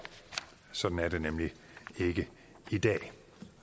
sådan er det nemlig ikke i dag